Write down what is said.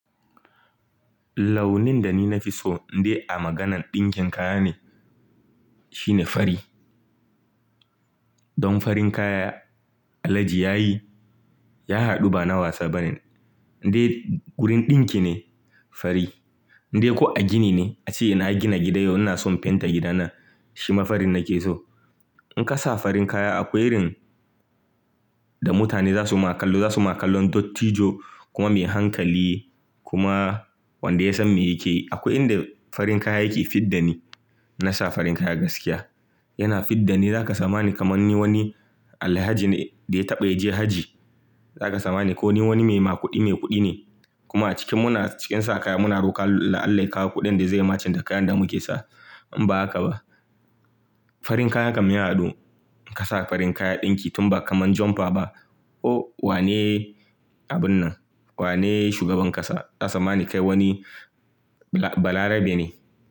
Launin da ni na fi so, in dai a maganan ɗinkin kaya ne, shine fari. Don farin kaya Alhaji ya yi, ya haɗu ba na wasa bane. Dai gurin ɗinki ne, fari. Dai ko a gini ne, ace ina gina gida yau ina son fenta gidana, shi mafarin nake so. In ka sa farin kaya akwai irin da mutane za su ma kallo, za su ma kallo dot tijo kuma mai hankali kuma wanda ya san me yake yi. Akwai inda farin kaya yake fidda ni. Na sa farin kaya gaskiya. Yana fidda ni, za ka samani kamar ni wani Alhaji ne da ya taɓa je hajji. Za ka samani ko ni wani mai ma ƙuɗi, mai kuɗi ne. Kuma a cikin muna, cikin sa kaya muna roƙan Allah ya kawo kuɗin da zai matching da kayan da muke sa. In ba haka ba, farin kaya kam ya haɗu. In ka sa farin kaya ɗinki tun ba kamar jumper ba, oh wane abun nan? Wane shugaban ƙasa? Za su tsammani kai wani bala, bala rabe ne.